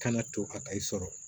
Kana to a ka e sɔrɔ